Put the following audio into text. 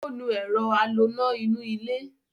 Ó nu ẹ̀rọ a lo ná inú ilé